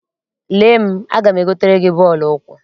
Lee m, aga m egotere gị bọọlụ ụkwụ.